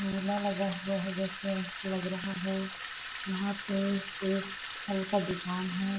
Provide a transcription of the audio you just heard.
मेला लगा हुआ जैसे के लग रहा है यहाँ पे एक फल का दुकान है।